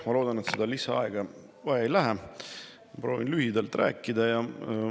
Ma loodan, et lisaaega ei lähe vaja, proovin rääkida lühidalt.